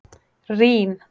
Rín